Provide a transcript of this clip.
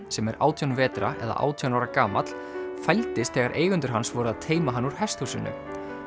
sem er átján vetra eða átján ára gamall fældist þegar eigendur hans voru að teyma hann úr hesthúsinu